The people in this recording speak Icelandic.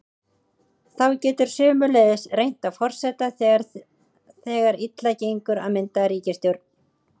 Þá getur sömuleiðis reynt á forseta þegar þegar illa gengur að mynda ríkisstjórn.